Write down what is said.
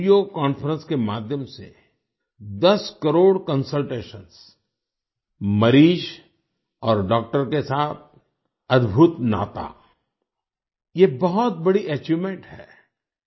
video conference के माध्यम से 10 करोड़ कंसल्टेशंस मरीज और डॉक्टर के साथ अद्भुत नाता ये बहुत बड़ी अचीवमेंट है